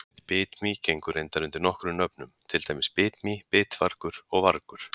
Bitmý gengur reyndar undir nokkrum nöfnum, til dæmis bitmý, bitvargur og vargur.